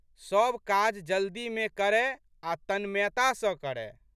सब काज जल्दीमे करए आ' तन्मयता सँ करय।